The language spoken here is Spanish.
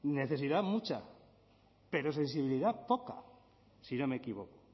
necesidad mucha pero sensibilidad poca si no me equivoco